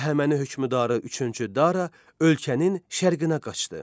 Əhəməni hökmdarı üçüncü Dara ölkənin şərqinə qaçdı.